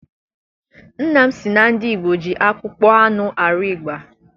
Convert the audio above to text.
Nna m sị na ndị Igbo ji akpụkpọ anụ arụ ịgba.